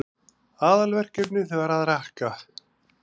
Aðalverkefnið var að rakka.